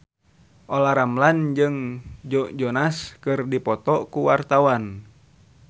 Olla Ramlan jeung Joe Jonas keur dipoto ku wartawan